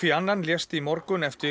annan lést í morgun eftir